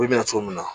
Ko bɛna cogo min na